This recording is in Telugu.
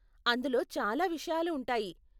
అందులో చాలా విషయాలు ఉంటాయి.